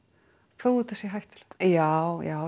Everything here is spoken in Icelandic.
þó þetta sé hættulegt já já